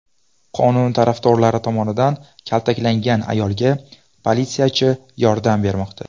Qonun tarafdorlari tomonidan kaltaklangan ayolga politsiyachi yordam bermoqda.